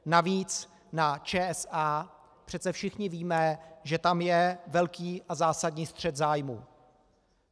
Navíc na ČSA přece všichni víme, že tam je velký a zásadní střet zájmů.